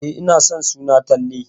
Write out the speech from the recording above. E, ina son suna Talle.